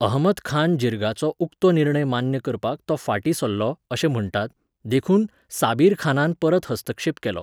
अहमदखान जिर्गाचो उक्तो निर्णय मान्य करपाक तो फाटीं सरलो अशें म्हण्टात, देखून साबीरखानान परत हस्तक्षेप केलो.